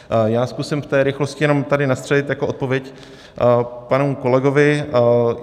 Já zkusím v té rychlosti jenom tady nastřelit jako odpověď panu kolegovi.